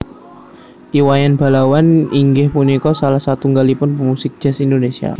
I Wayan Balawan inggih punika salah satunggalipun pemusik Jazz Indonesia